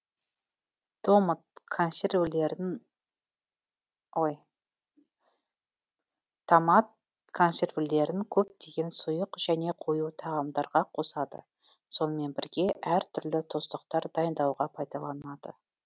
томат консервілерін көптеген сұйық және қою тағамдарға қосады сонымен бірге әр түрлі тұздықтар дайындауға пайдаланады